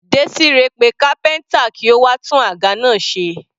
Desire pe kápẹ́ntà kí ó wá tún àga náà ṣe.